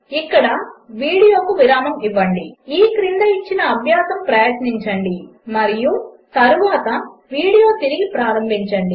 ఇక్కడ వీడియోకు విరామము ఇవ్వండి ఈ క్రింద ఇచ్చిన అభ్యాసము ప్రయత్నించండి మరియు తరువాత వీడియో తిరిగి ప్రారంభించండి